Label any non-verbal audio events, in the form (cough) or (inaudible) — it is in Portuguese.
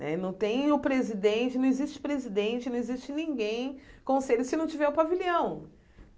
Né não tem o presidente, não existe presidente, não existe ninguém (unintelligible) se não tiver o pavilhão.